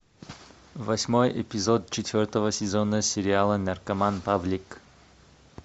восьмой эпизод четвертого сезона сериала наркоман павлик